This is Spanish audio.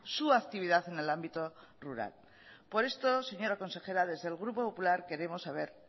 su actividad en el ámbito rural por esto señora consejera desde el grupo popular queremos saber